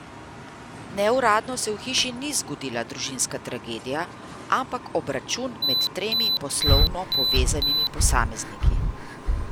Neuradno se v hiši ni zgodila družinska tragedija, ampak obračun med tremi poslovno povezanimi posamezniki.